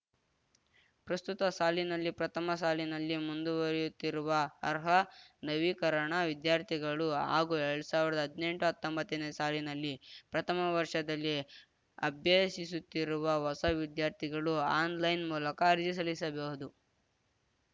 ಪ್ರಸ್ತುತ ಸಾಲಿನಲ್ಲಿ ಪ್ರಥಮ ಸಾಲಿನಲ್ಲಿ ಮುಂದುವರಿಯುತ್ತಿರುವ ಅರ್ಹ ನವೀಕರಣ ವಿದ್ಯಾರ್ಥಿಗಳು ಹಾಗೂ ಎಲ್ಡ್ ಸಾವ್ರ್ದ ಹದ್ನೆಂಟುಹತ್ತೊಂಬತ್ತನೇ ಸಾಲಿನಲ್ಲಿ ಪ್ರಥಮ ವರ್ಷದಲ್ಲಿ ಅಭ್ಯಸಿಸುತ್ತಿರುವ ಹೊಸ ವಿದ್ಯಾರ್ಥಿಗಳು ಆನ್‌ಲೈನ್‌ ಮೂಲಕ ಅರ್ಜಿ ಸಲ್ಲಿಸಬಹುದು